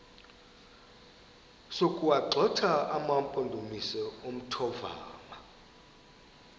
sokuwagxotha amampondomise omthonvama